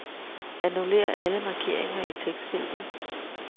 Annullér alle markeringer i tekstfeltet.